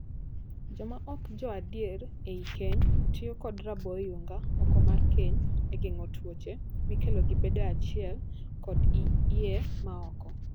Joma ok jo adier ei keny tiyo kod raboo oyunga oko mar keny e geng'o tuoche mikelo gi bedoe achiel kod iyee ma oko.